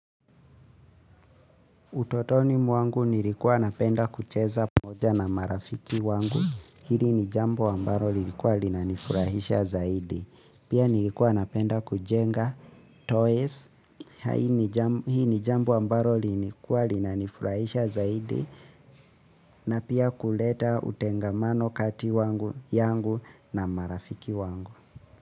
Utotoni mwangu nilikuwa napenda kucheza pamoja na marafiki wangu, hili ni jambo ambaro lilikuwa linanifurahisha zaidi. Pia nilikuwa napenda kujenga toys, hii ni jambo ambaro lilikuwa linanifurahisha zaidi, na pia kuleta utengamano kati wangu yangu na marafiki wangu.